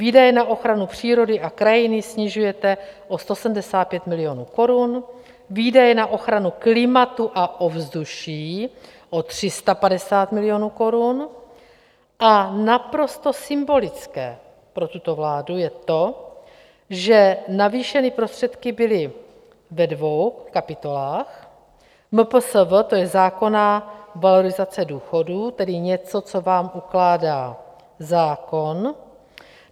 Výdaje na ochranu přírody a krajiny snižujete o 175 milionů korun, výdaje na ochranu klimatu a ovzduší o 350 milionů korun a naprosto symbolické pro tuto vládu je to, že navýšeny prostředky byly ve dvou kapitolách - MPSV, to je zákonná valorizace důchodů, tedy něco, co vám ukládá zákon.